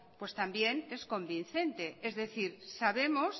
pues también es convincente es decir sabemos